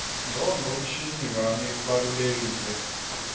ngcondvomshina wami ubalulekile